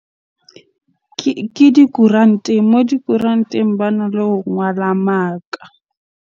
Ke dikoranteng. Moo dikoranteng bana le ho ngwala maka.